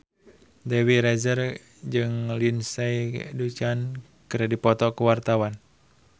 Dewi Rezer jeung Lindsay Ducan keur dipoto ku wartawan